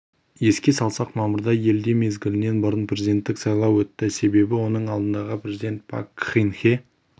еске салсақ мамырда елде мезгілінен бұрын президенттік сайлау өтті себебі оның алдындағы президент пак кын хе